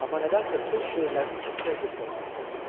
Amma nədənsə öz şeirlərini kimsəyə göstərmək istəmirdi.